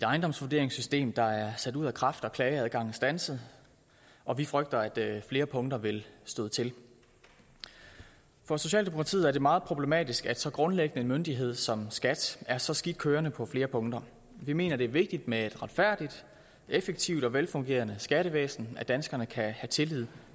ejendomsvurderingssystem der er sat ud af kraft og hvor klageadgangen standset og vi frygter at flere punkter vil støde til for socialdemokratiet er det meget problematisk at så grundlæggende en myndighed som skat er så skidt kørende på flere punkter vi mener det er vigtigt med et retfærdigt effektivt og velfungerende skattevæsen at danskerne kan have tillid